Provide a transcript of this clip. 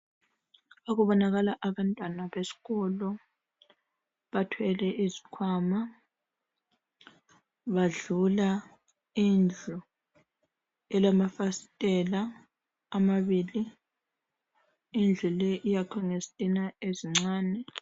Kubonakala abantwana besikolo bathwele izikhwama badlula indlu elamafasiteli amabili indlu le iyakhwe ngezitina ezincane.